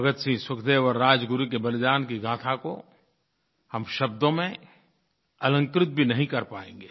भगतसिंह सुखदेव और राजगुरु के बलिदान की गाथा को हम शब्दों में अलंकृत भी नहीं कर पाएँगे